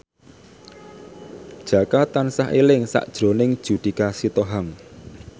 Jaka tansah eling sakjroning Judika Sitohang